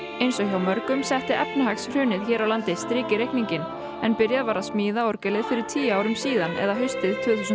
eins og hjá mörgum setti efnahagshrunið hér á landi strik í reikninginn en byrjað var að smíða orgelið fyrir tíu árum haustið tvö þúsund